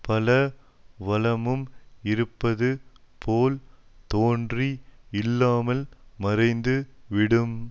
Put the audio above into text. பல வளமும் இருப்பது போல் தோன்றி இல்லாமல் மறைந்து விடும்